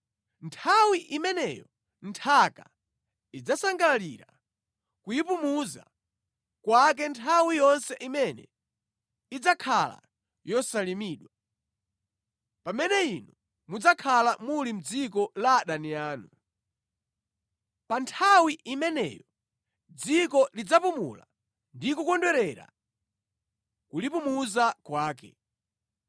Nthawi imeneyo nthaka idzasangalalira kuyipumitsa kwake nthawi yonse imene idzakhala yosalimidwa, pamene inu mudzakhala muli mʼdziko la adani anu. Pa nthawi imeneyo dziko lidzapumula ndi kukondwerera kulipumuza kwake.